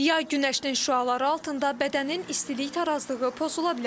Yay günəşinin şüaları altında bədənin istilik tarazlığı pozula bilər.